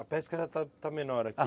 A pesca já está, está menor aqui?